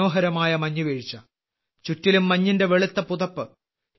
മനോഹരമായ മഞ്ഞുവീഴ്ച ചുറ്റിലും മഞ്ഞിന്റെ വെളുത്ത പുതപ്പ്